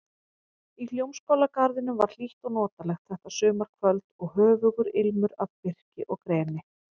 Í Hljómskálagarðinum var hlýtt og notalegt þetta sumarkvöld og höfugur ilmur af birki og greni.